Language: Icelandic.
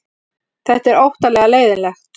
Þetta er óttalega leiðinlegt